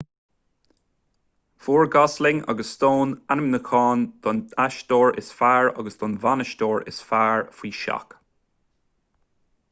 fuair gosling agus stone ainmniúcháin don aisteoir is fearr agus don bhanaisteoir is fearr faoi seach